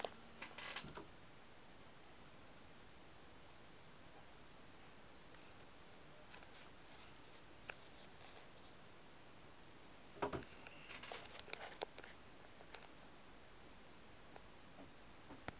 ontvang ten opsigte